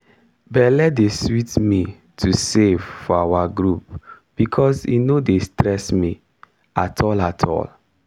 belle dey sweet me to save for our group becos e no dey stress me. at all at all